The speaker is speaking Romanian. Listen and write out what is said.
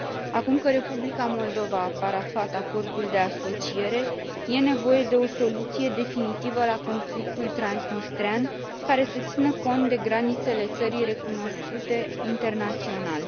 Acum că Republica Moldova a parafat acordul de asociere, e nevoie de o soluție definitivă la conflictul transnistrean, care să țină cont de granițele țării recunoscute internațional.